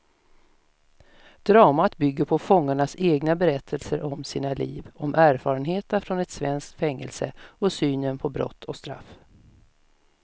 Dramat bygger på fångarnas egna berättelser om sina liv, om erfarenheterna från ett svenskt fängelse och synen på brott och straff.